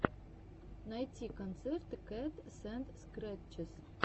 найти концерты катсэндскрэтчес